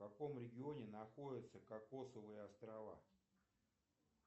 в каком регионе находятся кокосовые острова